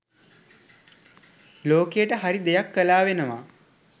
ලෝකයට හරි දෙයක් කලා වෙනවා.